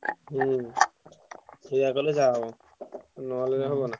ହୁଁ ସେୟା କଲେ ଯାହା ହବ ନହେଲେ ହବନା।